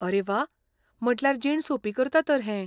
आरे व्वा, म्हटल्यार जीण सोंपी करता तर हें.